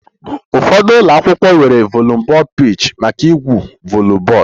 Ụfọdụ ụlọ akwụkwọ nwere volleyball pitch maka igwu volleyball